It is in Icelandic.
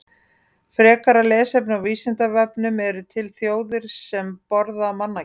Frekara lesefni á Vísindavefnum: Eru til þjóðir sem borða mannakjöt?